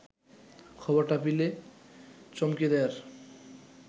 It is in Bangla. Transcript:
খবরটা পিলে চমকে দেয়ার